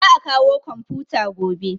Za a kawo komfuta gobe